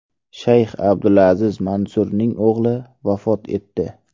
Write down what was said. Shayx Abdulaziz Mansurning o‘g‘li vafot etdi.